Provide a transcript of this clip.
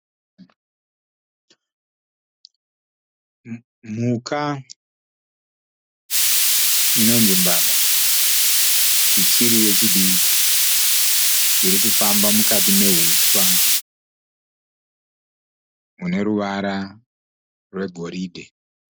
Mhuka inonzi mbada ichiri yechidiki. Irikufamba mukati mehuswa mune ruvara rwegoridhe.